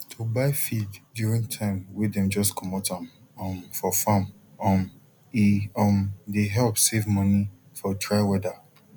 to buy feed during time way dem just comot am um for farm um e um dey help save money for dry weather